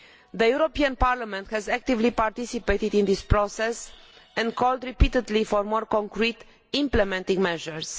The European Parliament has actively participated in this process and called repeatedly for more concrete implementing measures.